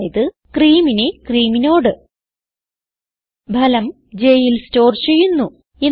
അതായത് ക്രീം നെ ക്രീം നോട് ഫലം jൽ സ്റ്റോർ ചെയ്യുന്നു